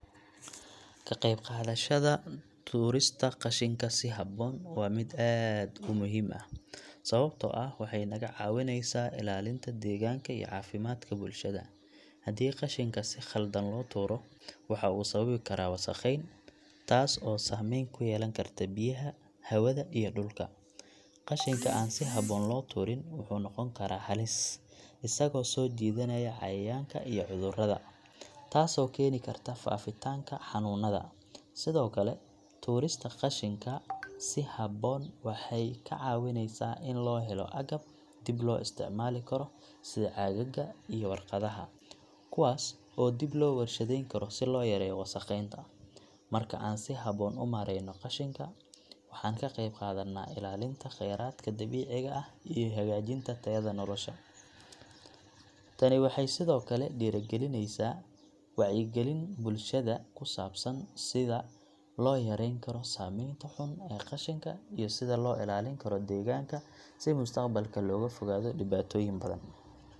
Ka qayb qaadashada tuurista qashinka si habboon waa mid aad u muhiim ah, sababtoo ah waxay naga caawineysaa ilaalinta deegaanka iyo caafimaadka bulshada. Haddii qashinka si khaldan loo tuuro, waxa uu sababi karaa wasakheyn, taas oo saameyn ku yeelan karta biyaha, hawada, iyo dhulka. Qashinka aan si habboon loo tuurin wuxuu noqon karaa halis, isagoo soo jiidanaya cayayaanka iyo cudurrada, taasoo keeni karta faafitaanka xanuunada. Sidoo kale, tuurista qashinka si habboon waxay ka caawineysaa in loo helo agab dib loo isticmaali karo, sida caagaga iyo warqadaha, kuwaas oo dib loo warshadeyn karo si loo yareeyo wasakheynta. Marka aan si habboon u maareyno qashinka, waxaan ka qayb qaadannaa ilaalinta kheyraadka dabiiciga ah iyo hagaajinta tayada nolosha. Tani waxay sidoo kale dhiirrigelisaa wacyigelin bulshada ku saabsan sida loo yareyn karo saameynta xun ee qashinka iyo sida loo ilaalin karo deegaanka si mustaqbalka looga fogaado dhibaatooyin badan.